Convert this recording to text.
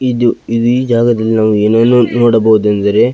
ಇದು ಇದು ಈ ಜಗದಲ್ಲಿ ನಾವು ಏನನ್ನು ನೋಡಬಹುದೆಂದರೆ --